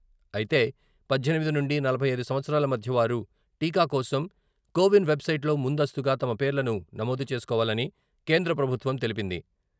అయితే, పద్దెనిమిది నుండి నలభై ఐదు సంవత్సరాల మధ్య వారు టీకా కోసం కోవిన్ వెబ్ సైట్ లో ముందస్తుగా తమ పేర్లను నమోదు చేసుకోవాలని కేంద్రప్రభుత్వం తెలిపింది.